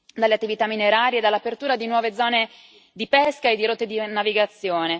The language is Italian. alle attività minerarie e all'apertura di nuove zone di pesca e di rotte di navigazione.